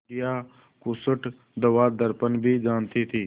बुढ़िया खूसट दवादरपन भी जानती थी